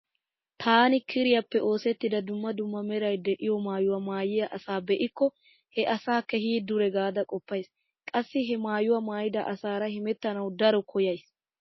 Taani kiriyappe oosettida dumma dumma meray diyo maayuwa maayiya asaa be'ikko he asaa keehi dure gaada qoppays. Qassi he maayuwa maayida asaara hemettanawu daro koyyaysi.